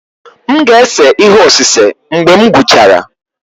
M ga-ese ihe osise mgbe m gwụchara.